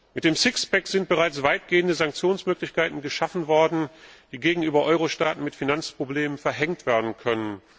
Mit dem Sixpack sind bereits weitgehende Sanktionsmöglichkeiten geschaffen worden, die gegenüber Eurostaaten mit Finanzproblemen verhängt werden können.